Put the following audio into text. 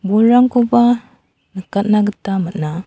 burangkoba nikatna gita man·a.